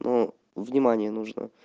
но внимание нужно